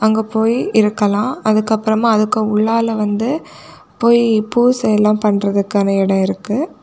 அங்க போய் இருக்கலாம் அதுக்கு அப்புறமா அதுக்கு உள்ளால வந்து போய் பூசை எல்லாம் பண்றதுக்கான இடம் இருக்கு.